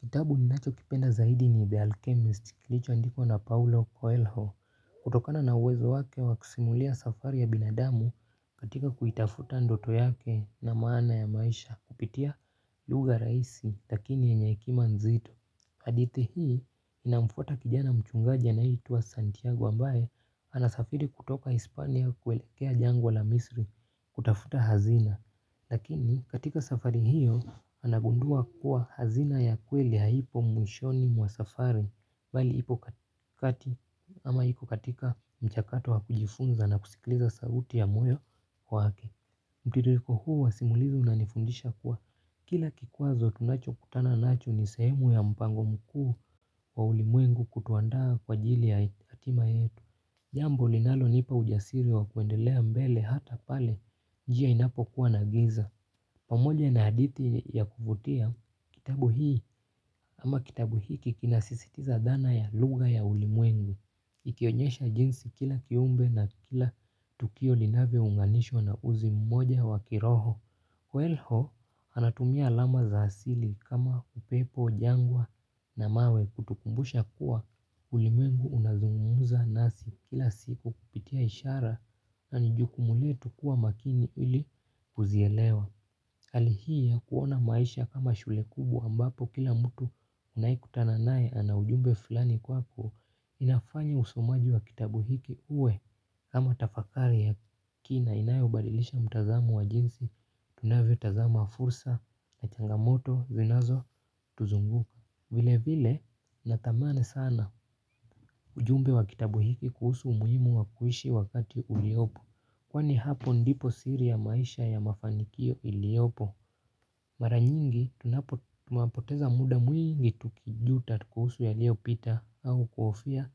Kitabu ninachokipenda zaidi ni The Alchemist kilichoandikwa na Paulo Coelho. Kutokana na uwezo wake wakusimulia safari ya binadamu katika kuitafuta ndoto yake na maana ya maisha kupitia lugha rahisi lakini yenye hekima nzito hadithi hii inamfuata kijana mchungaji anayeitwa Santiago ambaye anasafiri kutoka Hispania kuelekea jangwa la Misri kutafuta hazina lakini katika safari hiyo anagundua kuwa hazina ya kweli haipo mwishoni mwa safari mbali ipo kati ama iko katika mchakato wa kujifunza na kusikiliza sauti ya moyo wake. Mtindiliko huu wa simulizi unanifundisha kuwa kila kikwazo tunachokutana nacho ni sehemu ya mpango mkuu wa ulimwengu kutuandaa kwa ajili ya hatima yetu. Jambo linalonipa ujasiri wa kuendelea mbele hata pale njia inapokua na giza. Pamoja na haditi ya kuvutia kitabu hii ama kitabu hiki kinasisitiza dhana ya lugha ya ulimwengu ikionyesha jinsi kila kiumbe na kila tukio linavyounganishwa na uzi mmoja wa kiroho. Welho anatumia alama za asili kama upepo, jangwa na mawe kutukumbusha kuwa ulimwengu unazungumza nasi kila siku kupitia ishara, na ni jukumu letu kuwa makini ili kuzielewa hali hii ya kuona maisha kama shule kubwa ambapo kila mtu unayekutana naye ana ujumbe fulani kwako, inafanya usomaji wa kitabu hiki uwe kama tafakari ya kina inayobadilisha mtazamo wa jinsi tunavyotazama fursa na changamoto zinazotuzunguka. Vilevile natamani sana ujumbe wa kitabu hiki kuhusu umuhimu wa kuishi wakati uliopo. Kwani hapo ndipo siri ya maisha ya mafanikio iliopo. Mara nyingi tunapoteza muda mwingi tukijuta kuhusu yaliyopita au kuhofia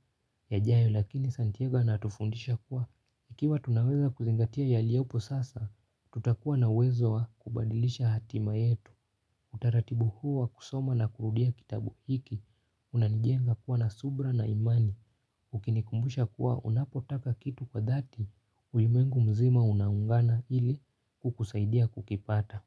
yajayo lakini Santiago anatufundisha kuwa tukiwa tunaweza kuzingatia yaliyopo sasa tutakua na uwezo wa kubadilisha hatima yetu utaratibu huu wa kusoma na kurudia kitabu hiki, unanijenga kuwa na subira na imani, ukinikumbusha kuwa unapotaka kitu kwa dhati, ulimengu mzima unaungana ili kukusaidia kukipata.